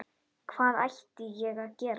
Hvað ætti ég að gera?